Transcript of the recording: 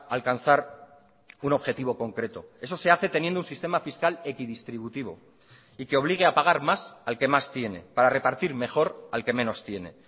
alcanzar un objetivo concreto eso se hace teniendo un sistema fiscal equidistributivo y que obligue a pagar más al que más tiene para repartir mejor al que menos tiene